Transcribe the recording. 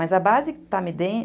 Mas a base que está me dando...